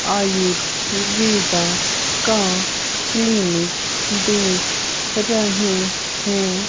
आयुर्वेदा का क्लीनिक देख रही है।